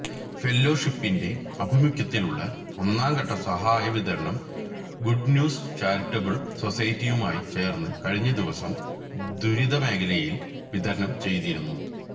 ഫെല്ലോഷിപ്പിന്റെ ആഭിമുഖ്യത്തിലുള്ള ഒന്നാംഘട്ട സഹായ വിതരണം ഗുഡ്ന്യൂസ് ചാരിറ്റബിൾ സൊസൈറ്റിയുമായി ചേർന്ന് കഴിഞ്ഞ ദിവസം ദുരിതമേഖലയിൽ വിതരണം ചെയ്തിരുന്നു